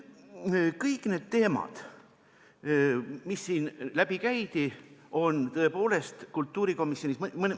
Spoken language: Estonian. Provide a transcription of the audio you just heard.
Kõik need teemad, mis siin läbi käidi, on tõepoolest kultuurikomisjonis arutelu all olnud.